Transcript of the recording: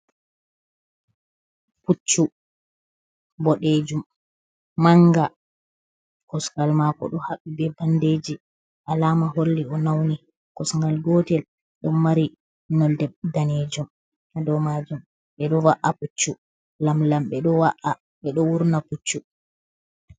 Puccu bodejum mang. kosgal mako do habbi be banɗeji. Alama holli o nauni. Kosgal gotel ɗon mari nolɗe ɗanejum ha ɗow majum. Be ɗo wa’a puccu lamlam be ɗo wurna puccu.